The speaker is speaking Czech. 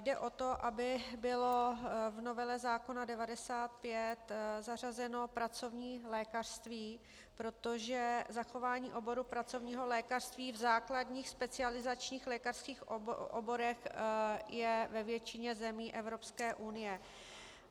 Jde o to, aby bylo v novele zákona 95 zařazeno pracovní lékařství, protože zachování oboru pracovního lékařství v základních specializačních lékařských oborech je ve většině zemí Evropské unie.